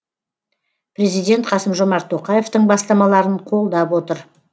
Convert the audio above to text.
президент қасым жомарт тоқаевтың бастамаларын қолдап отыр